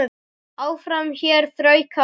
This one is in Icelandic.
Áfram hér þrauka á verði.